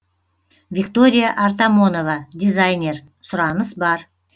виктория артамонова дизайнер сұраныс бар